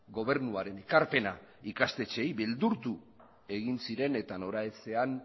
gobernuaren ekarpena ikastetxeei beldurtu egin zien eta noraezean